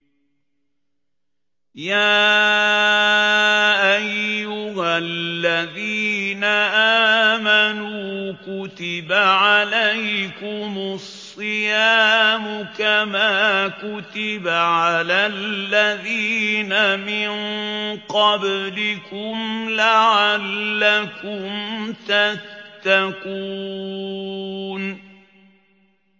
يَا أَيُّهَا الَّذِينَ آمَنُوا كُتِبَ عَلَيْكُمُ الصِّيَامُ كَمَا كُتِبَ عَلَى الَّذِينَ مِن قَبْلِكُمْ لَعَلَّكُمْ تَتَّقُونَ